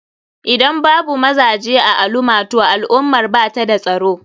Idan babu mazaje a alumah toh al ummar bata da tsaro.